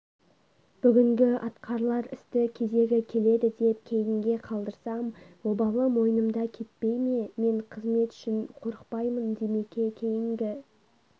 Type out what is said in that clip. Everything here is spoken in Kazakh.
бүгінгі атқарылар істі кезегі келеді деп кейінге қалдырсам обалы мойнымда кетпей ме мен қызмет үшін қорықпаймын димеке кейінгі